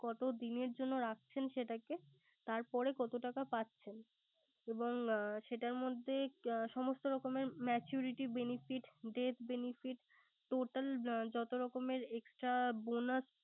কত দিনের জন্য রাখছেন সেটাকে তারপরে কত টাকা পাচ্ছেন এবং সেটার মধ্যে সমস্থ রকমের maturity benefit, death befefit total যত রকমের extra bonus ।